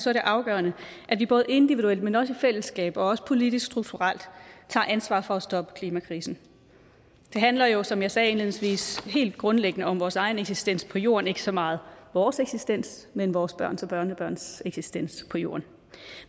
er det afgørende at vi både individuelt men også i fællesskab og politisk strukturelt tager ansvar for at stoppe klimakrisen det handler jo som jeg sagde indledningsvis helt grundlæggende om vores egen eksistens på jorden ikke så meget vores eksistens men vores børns og børnebørns eksistens på jorden